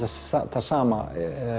það sama